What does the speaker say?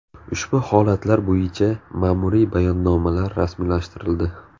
Ushbu holatlar bo‘yicha mamuriy bayonnomalar rasmiylashtirildi.